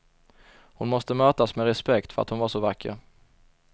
Hon måste mötas med respekt för att hon var så vacker.